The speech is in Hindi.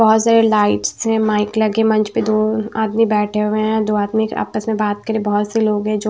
बहुत सारे लाइट्स से माइक लगे मंच पे दो आदमी बैठे हुए हैं दो आदमी आपस में बात करें बहुत से लोग हैं जो --